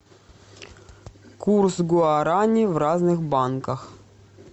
курс гуарани в разных банках